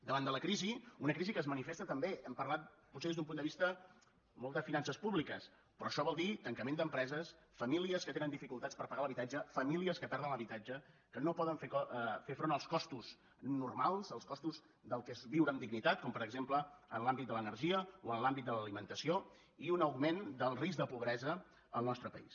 davant de la crisi una crisi que es manifesta també hem parlat potser des d’un punt de vista molt de finances públiques però això vol dir tancament d’empreses famílies que tenen dificultats per pagar l’habitatge famílies que perden l’habitatge que no poden fer front als costos normals als costos del que és viure amb dignitat com per exemple en l’àmbit de l’energia o en l’àmbit de l’alimentació i un augment del risc de pobresa en el nostre país